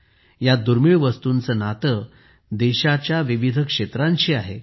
या दुर्मिळ वस्तूंचे नाते देशाच्या विविध क्षेत्रांशी आहे